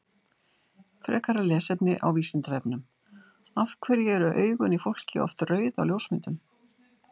Frekara lesefni á Vísindavefnum Af hverju eru augun í fólki oft rauð á ljósmyndum?